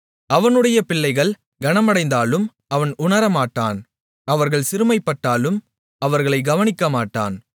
அவனுடைய பிள்ளைகள் கனமடைந்தாலும் அவன் உணரமாட்டான் அவர்கள் சிறுமைப்பட்டாலும் அவர்களைக் கவனிக்கமாட்டான்